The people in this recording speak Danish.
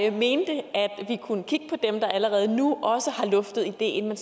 jeg mente at vi kunne kigge på dem der allerede nu også har luftet ideen men